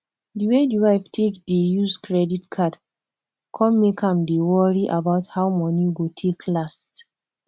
di way di wife take dey use credit card come make am dey worry about how money go take last